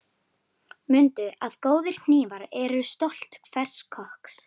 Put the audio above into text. Mundu að góðir hnífar eru stolt hvers kokks.